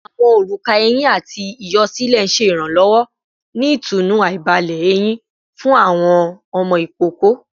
Awọn oruka ehin ati iyọ silẹ iranlọwọ ni itunu aibalẹ eyin fun awọn ọmọ ikoko